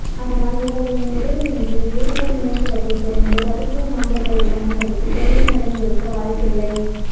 அதனால் இவர்களின் உதவியின்றி ஏடிஎம் இயந்திரத்தை திறந்து ரகசிய நம்பர்களைப் பயன்படுத்தி கொள்ளை நடந்திருக்க வாய்ப்பில்லை